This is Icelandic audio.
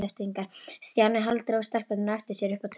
Stjáni hálfdró stelpurnar á eftir sér upp á tún.